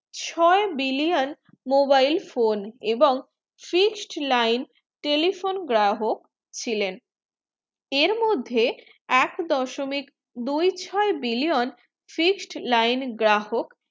ছয়ে billion mobile phone এবং fixed line telephone গ্রাহক ছিলেন এর মদে এক দশমিক দুই ছ billion fixed line গ্রাহক